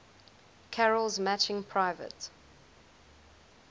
carol's matching private